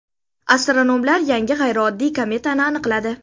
Astronomlar yangi g‘ayrioddiy kometani aniqladi.